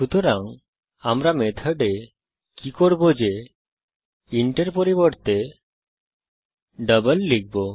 সুতরাং আমরা মেথডে কি করব যে ইন্ট এর পরিবর্তে ডাবল লিখব